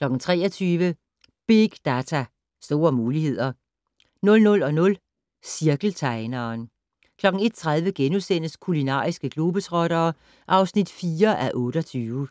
23:00: Big data, store muligheder 00:00: Cirkeltegneren 01:30: Kulinariske globetrottere (4:28)*